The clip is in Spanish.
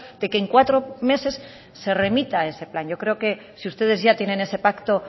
de que en cuatro meses se remita ese plan yo creo que si ustedes ya tienen ese pacto